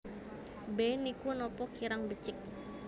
B Niku napa kirang becik